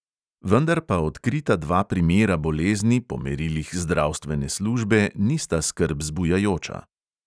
Vendar pa odkrita dva primera bolezni po merilih zdravstvene službe nista skrb zbujajoča.